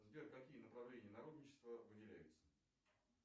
сбер какие направления народничества выделяются